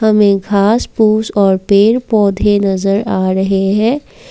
हमें घास फूस और पेड़ पौधे नजर आ रहे हैं।